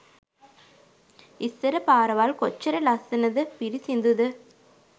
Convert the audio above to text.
ඉස්සර පාරවල් කොච්චර ලස්සනද පිරිසිදුද